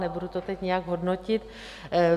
Nebudu to teď nějak hodnotit.